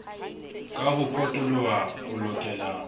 ka ho potoloha o lokela